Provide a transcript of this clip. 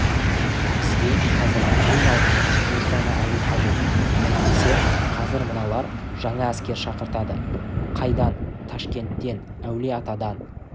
бізге қазір ең алдымен поштаны алу қажет әйтпесе қазір мыналар жаңа әскер шақыртады қайдан ташкенттен әулие-атадан